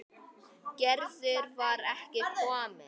Gerður var ekki komin.